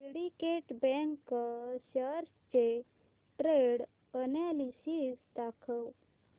Syndicate bank shares चे trend analysis दाखव